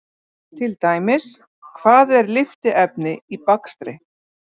Til dæmis: Hvað er lyftiefni í bakstri?